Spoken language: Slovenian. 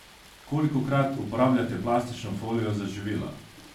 Kolikokrat uporabljate plastično folijo za živila?